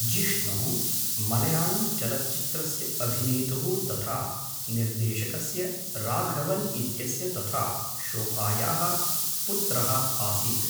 जिष्णुः मलयाळम्चलच्चित्रस्य अभिनेतुः तथा निर्देशकस्य राघवन् इत्यस्य तथा शोभायाः पुत्रः आसीत्।